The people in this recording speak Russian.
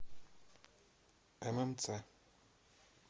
ммц